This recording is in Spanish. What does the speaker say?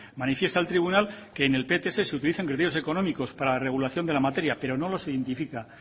manifiesta el tribunal que en el pts se utilicen criterios económicos para la regulación de la materia pero no los identifica